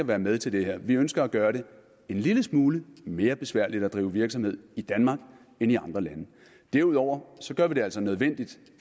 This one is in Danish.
være med til det her at vi ønsker at gøre det en lille smule mere besværligt at drive virksomhed i danmark end i andre lande derudover gør vi det altså nødvendigt